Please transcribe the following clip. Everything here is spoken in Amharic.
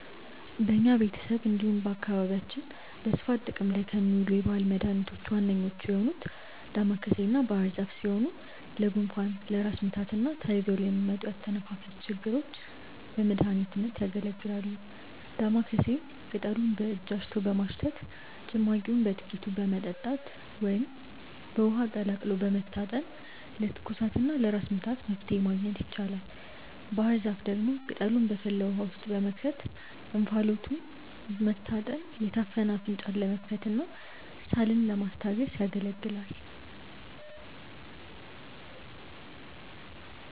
በኛ ቤተሰብ እንዲሁም በአካባቢያችን በስፋት ጥቅም ላይ ከሚውሉ የባህል መድኃኒቶች ዋነኞቹ የሆኑት ዳማከሴና ባህርዛፍ ሲሆኑ ለጉንፋን፣ ለራስ ምታትና ተያይዘው ለሚመጡ የአተነፋፈስ ችግሮች በመድሀኒትነት ያገለግላሉ። ዳማከሴን ቅጠሉን በእጅ አሽቶ በማሽተት፣ ጭማቂውን በጥቂቱ በመጠጣት ወይም በውሃ ቀቅሎ በመታጠን ለትኩሳትና ለራስ ምታት መፍትሔ ማግኘት ይቻላል። ባህርዛፍ ደግሞ ቅጠሉን በፈላ ውሃ ውስጥ በመክተት እንፋሎቱን መታጠን የታፈነ አፍንጫን ለመክፈትና ሳልን ለማስታገስ ያገለግላል።